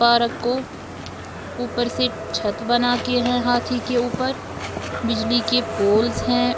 Park को ऊपर से छत बनाके है हाथी के ऊपर बिजली के पोल्स हैं।